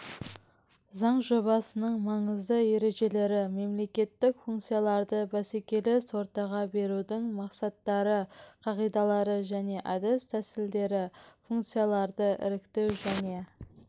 заң жобасының маңызды ережелері мемлекеттік функцияларды бәсекелес ортаға берудің мақсаттары қағидалары және әдіс-тәсілдері функцияларды іріктеу және